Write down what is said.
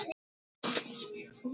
Þetta verður ekkert æft.